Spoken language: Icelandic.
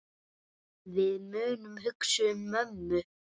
Við munum hugsa um mömmu.